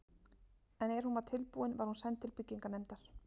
En er hún var tilbúin, var hún send til byggingarnefndar.